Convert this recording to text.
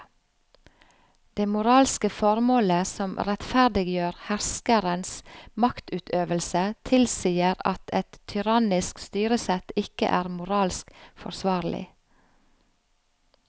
Det moralske formålet som rettferdiggjør herskerens maktutøvelse tilsier at et tyrannisk styresett ikke er moralsk forsvarlig.